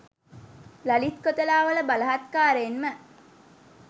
Lalith Kotelawala බලහත්කාරයෙන්ම